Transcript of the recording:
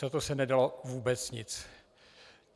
Za to se nedalo vůbec nic.